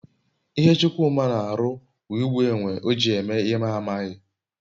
ihe Chukwuma n'aru wu igbu enwe oji eme ihe m n'aghi